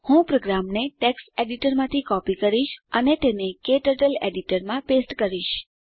હું પ્રોગ્રામને ટેક્સ્ટ એડીટરમાંથી કોપી કરીશ અને તેને ક્ટર્ટલ એડીટરમાં પેસ્ટ કરીશ